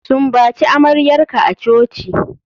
Sumbaci amaryarka a coci.